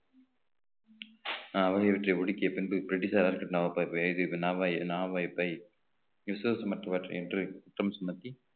ஆகியவற்றை ஒடுக்கிய பின்பு பிரிட்டிஷார் மற்றவற்றை என்று குற்றம் சுமத்தி